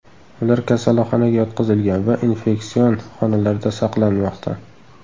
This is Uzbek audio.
Ular kasalxonaga yotqizilgan va infeksion xonalarda saqlanmoqda.